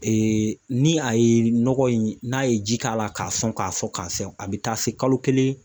ni a ye nɔgɔ in n'a ye ji k'a la k'a sɔn k'a sɔn k'a sɔn a bi taa se kalo kelen